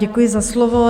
Děkuji za slovo.